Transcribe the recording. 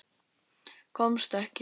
Komst ekki.